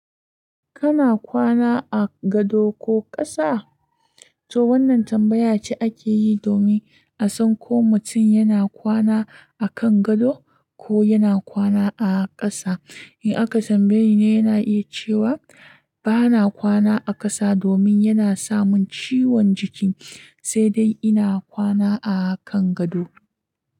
Kana kwana a gado ko ƙasa? To wannan tambaya ce ake yi domin a san ko mutum yana kwana a kan gado ko yana kwana a ƙasa. In aka tam bayeni ne, yana iya cewa bana kwana a ƙasa domin yana samun ciwon jiki, sai dai ina kwana a kan gado.